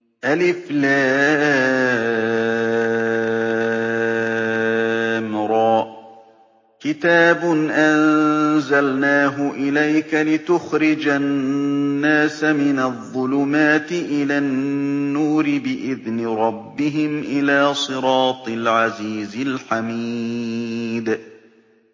الر ۚ كِتَابٌ أَنزَلْنَاهُ إِلَيْكَ لِتُخْرِجَ النَّاسَ مِنَ الظُّلُمَاتِ إِلَى النُّورِ بِإِذْنِ رَبِّهِمْ إِلَىٰ صِرَاطِ الْعَزِيزِ الْحَمِيدِ